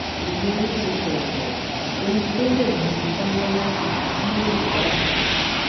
igboro ti sọrọ kò sóhun tó lè mú mi jáwọ láti jà fún yorùbá nation